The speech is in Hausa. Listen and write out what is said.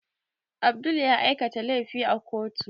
Abdul ya aikata laifi a kotu